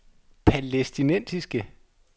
palæstinensiske